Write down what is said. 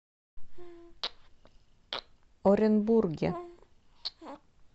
оренбурге